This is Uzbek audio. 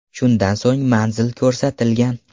Shundan so‘ng manzil ko‘rsatilgan.